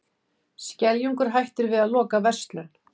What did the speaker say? Skeljungur hættir við að loka verslun